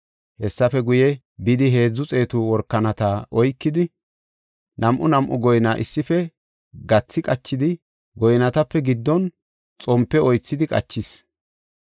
Hessafe guye, bidi heedzu xeetu workanata oykidi nam7aa nam7a goyna issife gathi qachidi goynatape giddon xompe wothidi qachis.